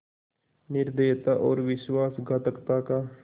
निर्दयता और विश्वासघातकता का